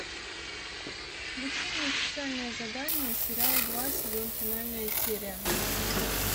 включи мне специальное задание сериал два сезон финальная серия